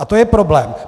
A to je problém.